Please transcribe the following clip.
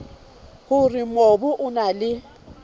hore mobu o na le